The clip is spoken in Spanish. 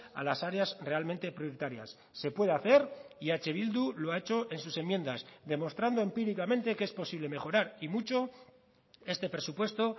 a las áreas realmente prioritarias se puede hacer y eh bildu lo ha hecho en sus enmiendas demostrando empíricamente que es posible mejorar y mucho este presupuesto